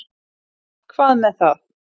Hvað með það.